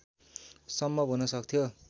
सम्भव हुन सक्थ्यो